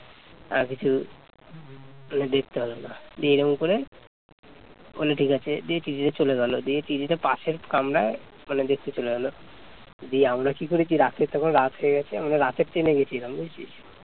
বলে ঠিক আছে দিয়ে টিটি টা চলে গেল দিয়ে টিটি টা পাশের কামরায় মানে দেখতে চলে গেল দিয়ে আমরা কি করেছি রাতে তখন রাত হয়ে গেছে আমরা তো রাতের ট্রেনে গেছিলাম বুঝলি